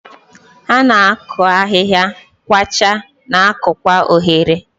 Ha na-akụ ahihia, kwachaa, na-akụkwa oghere.